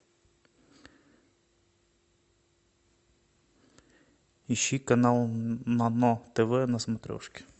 ищи канал нано тв на смотрешке